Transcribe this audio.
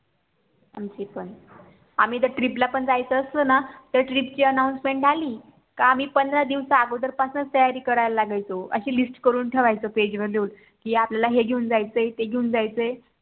आमची पण आम्ही तर TRIP ला पण जायचं असलं ना तर TRIP ची ANNOUNCEMENT आली कि आम्ही पंधरा दिवसा अगोदर पासूनच तयारी करायला लागायचो अशी LIST करून ठेवायचो PAGE वर लिहून कि आपल्याला ही घेऊन जायचं आहे ते घेऊन जायचं आहे